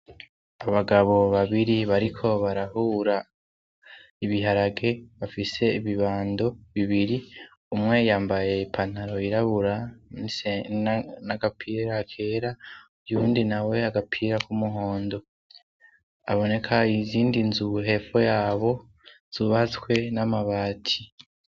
Abagabo babiri bariko barahura ibiharage bafise ibibando bibiri umwe yambaye pantaro irabura en'agapira kera yundi na we yagapira k'umuhondo aboneka ay izindi nzuhefo yabo zubatswe niamabati.